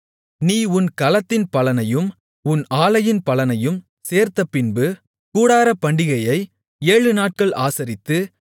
நீ உன் களத்தின் பலனையும் உன் ஆலையின் பலனையும் சேர்த்தபின்பு கூடாரப்பண்டிகையை ஏழு நாட்கள் ஆசரித்து